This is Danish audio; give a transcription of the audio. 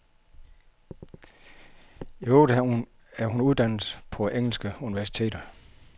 I øvrigt er hun uddannet på engelske universiteter.